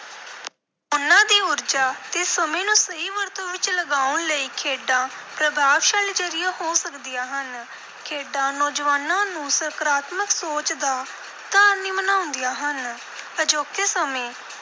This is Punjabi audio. ਉਨ੍ਹਾਂ ਦੀ ਊਰਜਾ ਤੇ ਸਮੇਂ ਨੂੰ ਸਹੀ ਵਰਤੋਂ ਵਿਚ ਲਗਾਉਣ ਲਈ ਖੇਡਾਂ ਪ੍ਰਭਾਵਸ਼ਾਲੀ ਜ਼ਰੀਆ ਹੋ ਸਕਦੀਆਂ ਹਨ। ਖੇਡਾਂ ਨੌਜਵਾਨਾਂ ਨੂੰ ਸਕਾਰਾਤਮਕ ਸੋਚ ਦਾ ਧਾਰਨੀ ਬਣਾਉਂਦੀਆਂ ਹਨ। ਅਜੋਕੇ ਸਮੇਂ